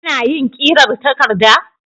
Kana yin ƙirar takarda?